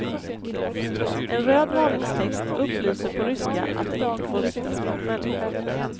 En röd varningstext upplyser på ryska att den inte får riktas mot människor.